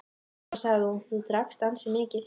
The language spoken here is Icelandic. Svo sagði hún:-Þú drakkst ansi mikið.